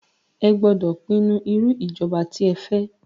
Ẹ gbódọ̀ pinnu irú ìjọba tí ẹ fẹ́!